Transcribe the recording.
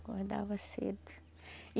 Acordava cedo e